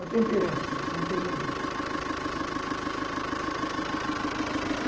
A temperança, que é um termo bíblico.